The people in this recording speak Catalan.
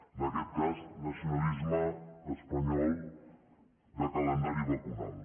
en aquest cas nacionalisme espanyol de calendari vacunal